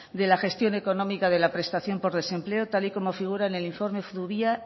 de la gestión económica de la prestación de desempleo tal y como figura en el informe zubia